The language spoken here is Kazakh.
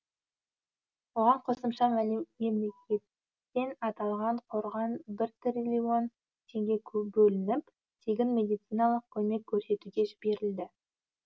оған қосымша мемлекеттен аталған қорға бір триллион теңге бөлініп тегін медициналық көмек көрсетуге жіберілді